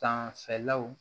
Danfɛlaw